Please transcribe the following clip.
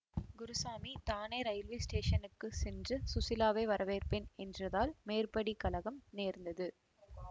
குருசாமி தானே ரயில்வே ஸ்டேஷனுக்குச் சென்று ஸுசீலாவை வரவேற்பேன் என்றதால் மேற்படி கலகம் நேர்ந்தது